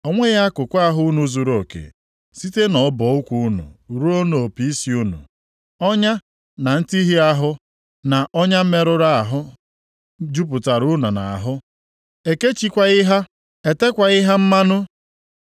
O nweghị akụkụ ahụ unu zuruoke, site nʼọbọ ụkwụ unu ruo nʼopi isi unu; ọnya, na ntihịa ahụ, na ọnya mmerụ ahụ, jupụtara unu nʼahụ; e kechikwaghị ha, e tekwaghị ha mmanụ.